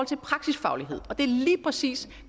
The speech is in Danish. til praksisfaglighed og det er lige præcis